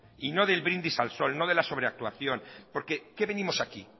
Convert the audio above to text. y no del brindis al sol no de la sobreactuación porque a qué venimos aquí